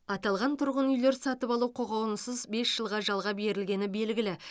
аталған тұрғын үйлер сатып алу құқығынсыз бес жылға жалға берілгені белгілі